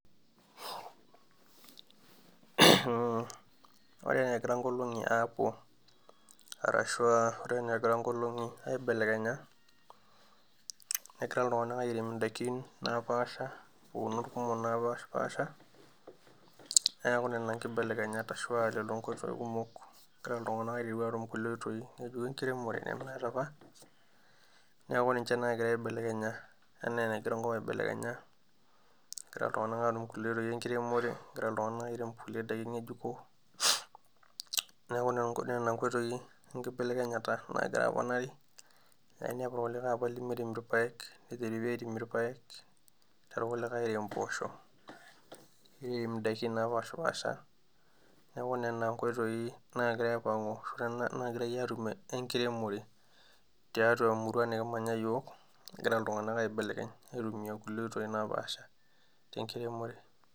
Ore enegira nkolong'i aapuo arashua ore enaa egira nkolong'i aibelekenya negira iltung'anak airem indaikin napaasha iunot kumok napashipasha neeku nena nkibelekenyata ashua lelo nkoitoi kumok egira iltung'anak aiteru atum kulie oitoi ng'ejuko enkiremore nemenyorr apa niaku ninche nagira aibelekenya enaa enegira enkop aibelekenya egira iltung'anak atum kulie oitoi enkiremore egira iltung'anak airem kulie daikin ng'ejuko neku nena nkoitoi enkibelekenyata nagira aponari nainepu apa kulikae lemirem irpayek neteri pii aipim irpayek nirem irkulikae imposho niremi indaiki napashipasha neku nena nkoitoi nagira aipang'u ashu nagirae atumie enkiremore tiatua e,murua nikimanya iyiok egira iltung'anak aibelekeny aitumia nkulie oitoi napaasha tenkiremore.